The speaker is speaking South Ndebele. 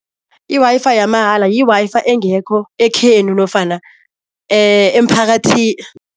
I-Wi-Fi yamahala yi-Wi-Fi engekho ekhenu nofana